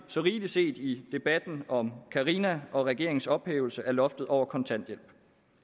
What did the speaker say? så rigelig set i debatten om karina og regeringens ophævelse af loftet over kontanthjælpen